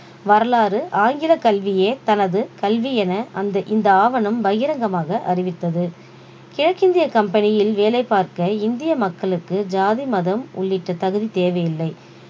வரலாறு ஆங்கிலக் கல்வியே தனது கல்வி என அந்த இந்த ஆவணம் பகிரங்கமாக அறிவித்தது கிழக்கிந்திய கம்பெனியில் வேலை பார்க்க இந்திய மக்களுக்கு ஜாதி மதம் உள்ளிட்ட தகுதி தேவையில்லை